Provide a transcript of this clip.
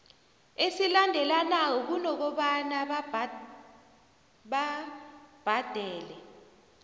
esilandelanako kunokobana babhadele